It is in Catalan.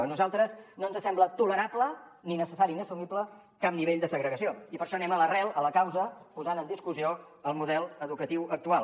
a nosaltres no ens sembla tolerable ni necessari ni assumible cap nivell de segregació i per això anem a l’arrel a la causa posant en discussió el model educatiu actual